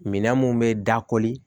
Minɛn mun bɛ da koli